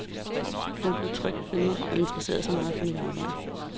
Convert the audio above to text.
Hun blev tryg ved mig og interesserede sig meget for mit arbejde.